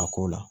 A ko la